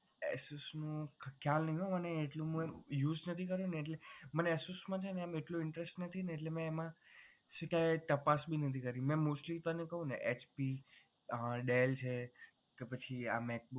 Asus નું ખ્યાલ નહીં મને એટલો use નથી કર્યો ને એટલે મને Asus મા એટલો interest નથી ને એટલે મે એમા તપાસ ભી નથી કરી મેં mostly તને કહું ને HP dell છે કે પછી આ macbook